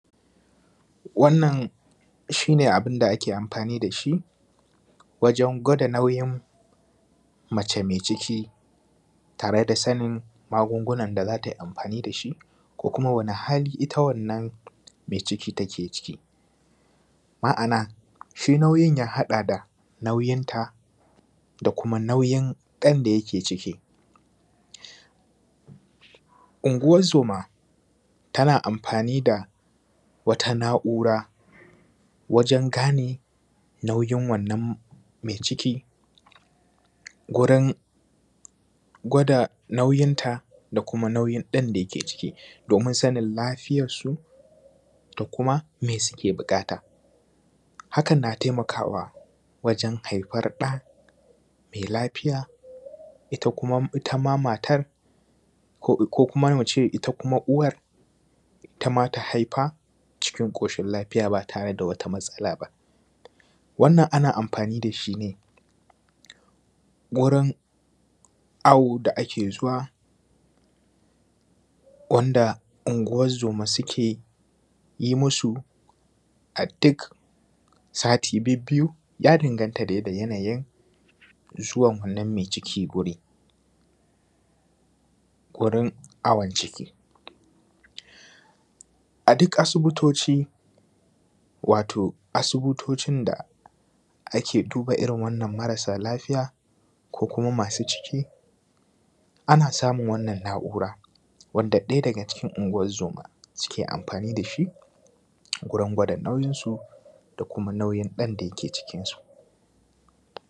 Wannan shine abun da ake amfani da shi wajen gwada nauyin mace mai ciki tare da sanin magungunan da za ta yi amfani da shi, ko kuma sanin wane hali ita wannan mai ciki take ciki. Ma'ana shi nauyin ya haɗa da nauyin ta da kuma nauyin ɗan da yake cikin. Unguwan zoma tana amfani da wata na'ura wajen gane nauyin wannan mai ciki. Gurin gwada nauyinta da kuma nauyin ɗan da ke ciki domin sanin lafiyan su da kuma mai suke buƙata. Hakan na taimakawa wajen haifar da mai lafiya, ita kuma uwan ita ma matar, ko kuma muce ita uwar, ita ma ta haifa cikin cikin ƙoshin lafiya ba tare da matsala ba. Wannan ana amfani da shine wurin awo da ake zuwa wanda unguwan zoma suke yi musu a duk sati bibbiyu. Ya danganta dai da yanayin zuwan wannan mai cikin gurin awon ciki. A duk asibitoci wato asibitocin da ake duba irin marasa lafiya ko kuma masu ciki, ana samun irin wannan na'ura wanda ɗaya daga cikin unguwan zoma suke amfani da shi gurin gwada nauyin su da kuma nauyin ɗan da ke cikin su.